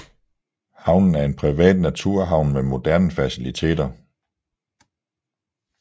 Havnen er en privat naturhavn med moderne facilliteter